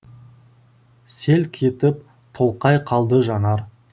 селк етіп тоқай қалды жанар